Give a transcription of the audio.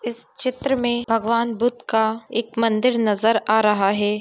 इस चित्र में भगवन बुद्ध का एक मंदिर नजर आ रहा है।